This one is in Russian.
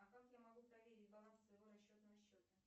а как я могу проверить баланс своего расчетного счета